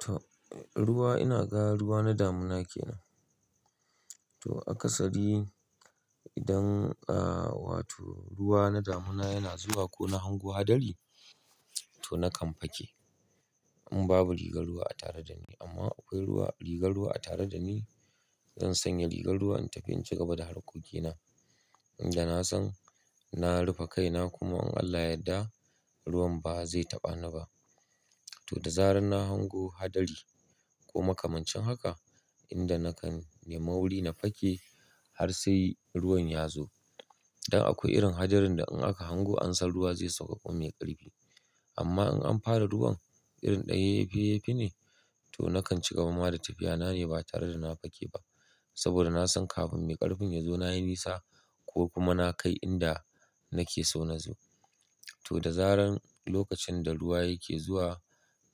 To, ruwa ina ga ruwa na damuna kenan. To, a kasadi idan, ah wato ruwa na damuna yana zuwa ko na hango hadari, to nakan fake in babu rigar ruwa a tare da ni. Amma akwai ruwa, rigar ruwa a tare da ni, zan sanya rigar ruwan in tafi in cigaba da harkokina. Inda na san, na rufe kaina kuma in Allah yadda ruwan ba zai taɓa ni ba. To, da zarar na hango hadari ko makamancin haka, inda nakan yi mauri na fake har sai ruwan ya zo. Dan akwai irin hadarin da in aka hango amsan ruwa zai sabka mai karfi. Amma in an fara ruwan irin ɗan yeyyefe yeyyefe ne, to nakan cigaba ma da tafiya na ne ba tare da na fake ba. Saboda na san kafin mai ƙarfin ya zo na yi nisa ko kuma na kai inda nake so na zo. To, da zarar lokacin da ruwa yake zuwa